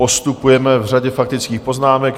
Postupujeme v řadě faktických poznámek.